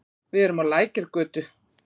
Við erum á Lækjargötu.